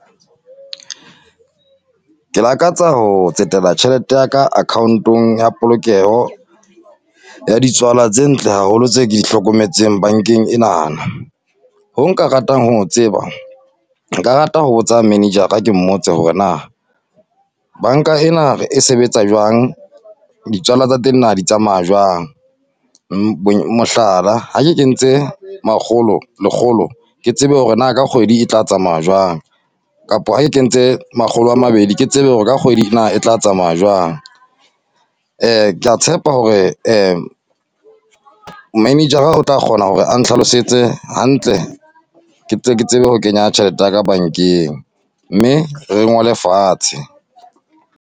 Ke lakatsa ho tsetela tjhelete yaka account-ong ya polokeho, ya ditswala tse ntle haholo, tse ke di hlokometseng bankeng enana. Ho nka ratang ho o tseba, nka rata ho botsa manager-a ke mmotse hore na, banka ena e sebetsa jwang? Ditswala tsa teng na di tsamaya jwang? Mohlala, ha ke kentse makgolo, lekgolo, ke tsebe hore na ka kgwedi e tla tsamaya jwang? Kapo ha ke kentse makgolo a mabedi ke tsebe hore ka kgwedi na e tla tsamaya jwang. Ke a tshepa hore manager-a tla kgona hore a ntlhalosetse hantle. Ke tle ke tsebe ho kenya tjhelete ya ka bankeng, mme re ngole fatshe.